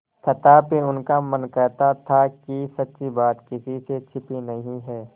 तथापि उनका मन कहता था कि सच्ची बात किसी से छिपी नहीं है